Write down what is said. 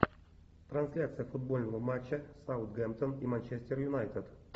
трансляция футбольного матча саутгемптон и манчестер юнайтед